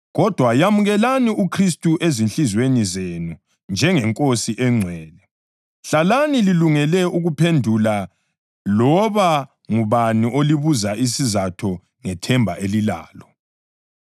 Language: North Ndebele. Kodwa yamukelani uKhristu ezinhliziyweni zenu njengeNkosi engcwele. Hlalani lilungele ukuphendula loba ngubani olibuza isizatho ngethemba elilalo.